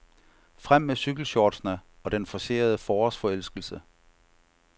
Frem med cykelshortsene og den forcerede forårsforelskelse.